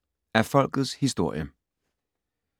Af Folkets historie